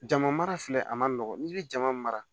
Jama mara filɛ a man nɔgɔn n'i bɛ jama mara